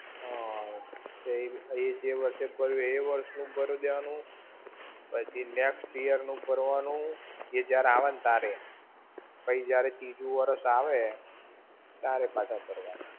હમ્મ. એ જે વર્ષે ભર્યું એ વર્ષ નું ભરી દેવાનું, પછી next year નું ભરવાનું એ જયારે આવે ને ત્યારે, પછી જયારે તીજું વર્ષ આવે ત્યારે પાછા ભરવાના.